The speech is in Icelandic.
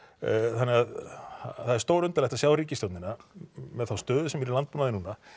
þannig að það er stórundarlegt að sjá ríkisstjórnina með þá stöðu sem er í landbúnaði núna